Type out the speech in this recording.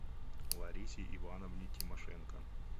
ларисе ивановне тимошенко